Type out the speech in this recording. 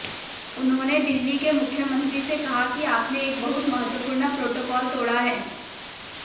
उन्होंने दिल्ली के मुख्यमंत्री से कहा कि आपने एक बहुत महत्वपूर्ण प्रॉटोकॉल तोड़ा है